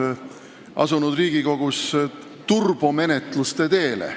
– ilmunud artiklis ütleb, turbomenetluste teele.